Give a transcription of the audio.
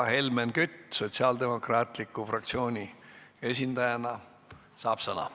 Helmen Kütt Sotsiaaldemokraatliku Erakonna fraktsiooni esindajana saab sõna.